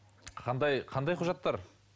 қандай қандай құжаттар